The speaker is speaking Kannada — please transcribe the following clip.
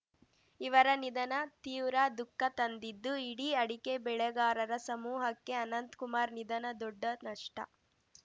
ಇವರ ನಿಧನ ತೀವ್ರ ದುಃಖ ತಂದಿದ್ದು ಇಡಿ ಅಡಕೆ ಬೆಳೆಗಾರರ ಸಮೂಹಕ್ಕೆ ಅನಂತಕುಮಾರ್ ನಿಧನ ದೊಡ್ಡ ನಷ್ಟ